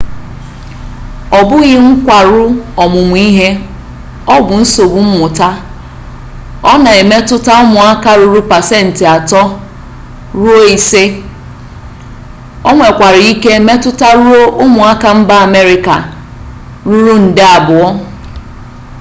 ọ bụghị nkwarụ ọmụmụ ihe ọ bụ nsogbu mmụta ọ na-emetụta ụmụaka ruru pasentị ato ruo ise onwekwara ike metụtaruo ụmụaka mba amerịka ruru nde abụọ